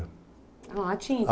Ah, lá?